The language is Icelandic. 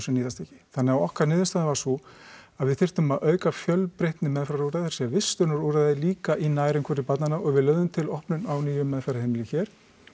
nýtast ekki þannig að okkar niðurstaða var sú að við þyrftum að auka fjölbreytni meðferðarúrræða sem vistunarúrræði líka í nærumhverfi barnanna og við lögðum til opnun á nýju meðferðarheimili hér